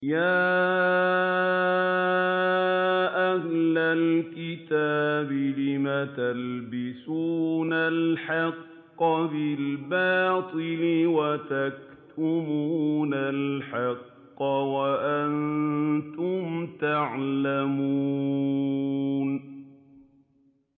يَا أَهْلَ الْكِتَابِ لِمَ تَلْبِسُونَ الْحَقَّ بِالْبَاطِلِ وَتَكْتُمُونَ الْحَقَّ وَأَنتُمْ تَعْلَمُونَ